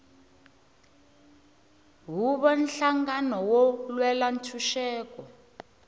huvo nhlangano wo lwela ntshuxeko